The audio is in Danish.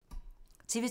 TV 2